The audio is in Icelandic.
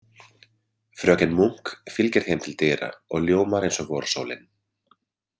Fröken Munk fylgir þeim til dyra og ljómar eins og vorsólin.